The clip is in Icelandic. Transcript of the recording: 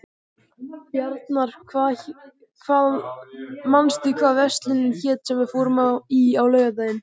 Bjarnar, manstu hvað verslunin hét sem við fórum í á laugardaginn?